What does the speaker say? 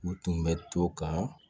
U tun bɛ to ka